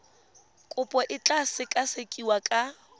kopo e tla sekasekiwa ka